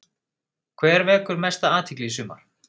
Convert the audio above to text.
Hver vekur mesta athygli í sumar?